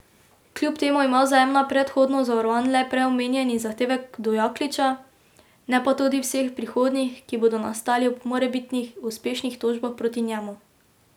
Kljub temu ima Vzajemna predhodno zavarovan le prej omenjeni zahtevek do Jakliča, ne pa tudi vseh prihodnjih, ki bodo nastali ob morebitnih uspešnih tožbah proti njemu.